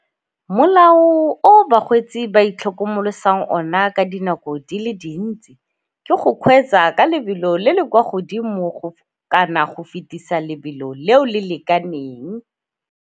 Molao o bakgweetsi ba itlhokomolosang ona ka dinako di le dintsi ke go kgweetsa ka lebelo le le kwa godimo go kana go fetisa lebelo leo le lekaneng.